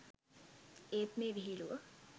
ඒත් මේ විහිළුව